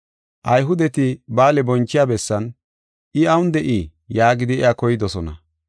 Ayhudeti ba7aale bonchiya bessan, “I awun de7ii?” yaagidi iya koydosona.